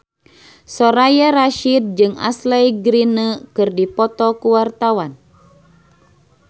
Soraya Rasyid jeung Ashley Greene keur dipoto ku wartawan